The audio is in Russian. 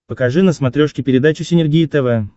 покажи на смотрешке передачу синергия тв